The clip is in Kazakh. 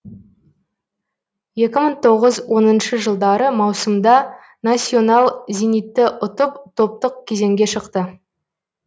екі мың тоғыз оныншы жылдары маусымда насьонал зенитты ұтып топтық кезеңге шықты